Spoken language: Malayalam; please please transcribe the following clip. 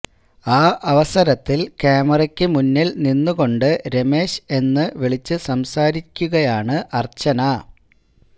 ആ അവസരത്തില് ക്യാമാര്യ്ക്ക് മുന്നില് നിന്നുകൊണ്ട് രമേശ് എന്ന് വിളിച്ചു സംസാരിക്കുകയാണ് അര്ച്ചന